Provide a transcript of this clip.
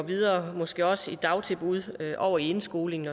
videre måske også i dagtilbud og over i indskolingen